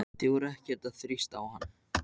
Við vorum ekkert að þrýsta á hann.